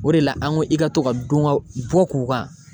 O de la an ko i ka to ka don ka bɔ k'u kan.